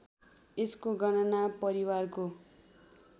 यसको गणना परिवारको